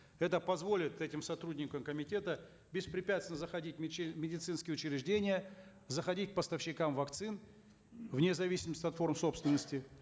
это позволит этим сотрудникам комитета беспрепятственно заходить в в медицинские учреждения заходить к поставщикам вакцин вне зависимости от форм собственности